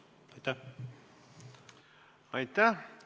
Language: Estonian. Aitäh!